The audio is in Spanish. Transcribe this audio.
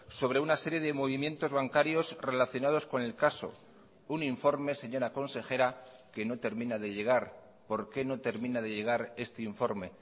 sobre una serie de movimientos bancarios relacionados con el caso un informe señora consejera que no termina de llegar por qué no termina de llegar este informe